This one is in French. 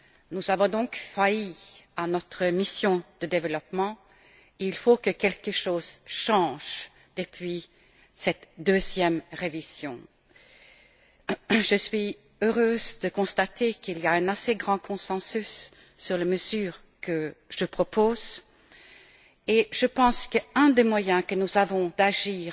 Nous avons donc failli à notre mission de développement. Il faut que quelque chose change avec cette deuxième révision. Je suis heureuse de constater qu'il y a un assez grand consensus sur les mesures que je propose, et je pense que l'un des moyens que nous avons d'agir